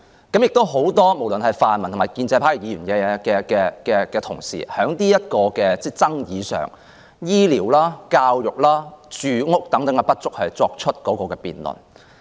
不無論是泛民或建制派的議員，他們在這項爭議上，就醫療、教育和住屋等不足的問題作出辯論。